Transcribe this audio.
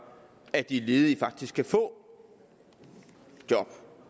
at de ledige faktisk kan få job